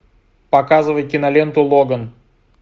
показывай киноленту логан